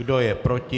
Kdo je proti?